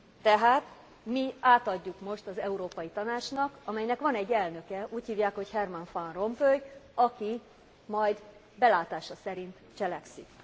Tehát mi átadjuk most az Európai Tanácsnak, amelynek van egy elnöke, úgy hívják, hogy Herman Van Rompuy, aki majd belátása szerint cselekszik.